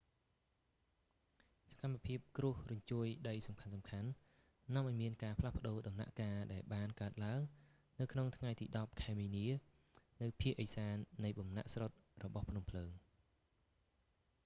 សកម្មភាពគ្រោះរញ្ជួយដីសំខាន់ៗ នាំឲ្យមានការផ្លាស់ប្ដូរដំណាក់កាលដែលបានកើតឡើងនៅក្នុងថ្ងៃទី10 ខែមីនា នៅភាគឦសាននៃបំណាក់ស្រុតរបស់ភ្នំភ្លើង